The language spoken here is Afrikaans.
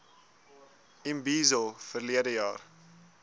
imbizo verlede jaar